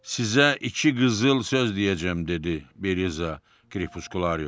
Sizə iki qızıl söz deyəcəm dedi Beliza Kripuskulario.